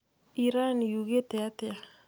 Iran yugĩte atĩa?